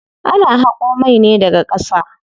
Ana haƙo mai ne daga ƙasa.